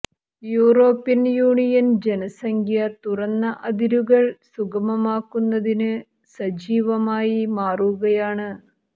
European Union ജനസംഖ്യ തുറന്ന അതിരുകൾ സുഗമമാക്കുന്നതിന് സജീവമായി മാറുകയാണ്